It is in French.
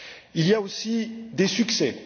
Il y a aussi des succès.